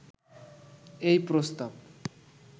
এই প্রস্তাব